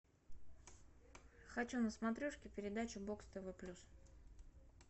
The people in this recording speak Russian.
хочу на смотрешке передачу бокс тв плюс